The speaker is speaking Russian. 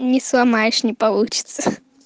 не сломаешь не получится